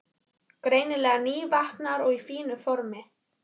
Greinilega nývaknaður og í fínu formi.